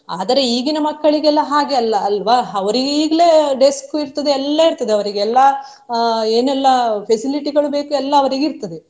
ಆದರೆ ಈಗಿನ ಮಕ್ಕಳಿಗೆಲ್ಲಾ ಹಾಗೆ ಅಲ್ಲ ಅಲ್ವಾ ಅವ್ರಿಗೆ ಈಗಲೇ desk ಇರ್ತದೆ ಎಲ್ಲಾ ಇರ್ತದೆ ಅವ್ರಿಗೆ ಎಲ್ಲಾ ಅಹ್ ಏನೆಲ್ಲಾ facility ಗಳು ಬೇಕು ಎಲ್ಲಾ ಅವರಿಗೆ ಇರ್ತದೆ.